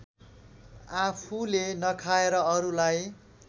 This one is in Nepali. आफूले नखाएर अरूलाई